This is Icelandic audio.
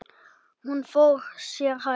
Hún fór sér hægt.